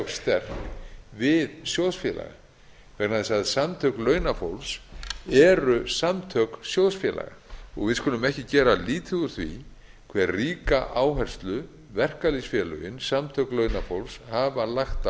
sterk við sjóðsfélaga vegna þess að samtök launafólks eru samtök sjóðsfélaga við skulum ekki gera lítið úr því hve ríka áherslu verkalýðsfélögin samtök launafólks hafa lagt